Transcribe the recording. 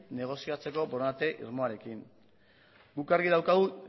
negoziatzeko borondate irmoarekin guk argi daukagu